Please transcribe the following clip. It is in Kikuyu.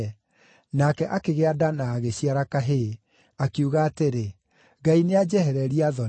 Nake akĩgĩa nda na agĩciara kahĩĩ, akiuga atĩrĩ, “Ngai nĩanjehereria thoni.”